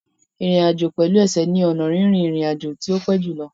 Ìrìn àjò pẹ̀lú ẹsẹ̀ ni ọnà rírin ìrìn àjò tí ó pẹ́ jù lọ.